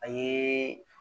A ye